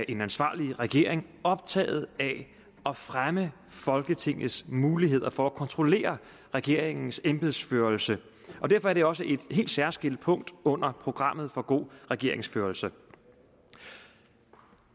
en ansvarlig regering optaget af at fremme folketingets muligheder for at kontrollere regeringens embedsførelse derfor er det også et helt særskilt punkt under programmet for god regeringsførelse